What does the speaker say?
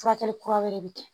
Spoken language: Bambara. Furakɛli kura wɛrɛ bi kɛ